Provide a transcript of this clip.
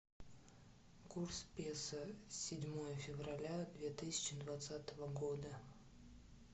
курс песо седьмое февраля две тысячи двадцатого года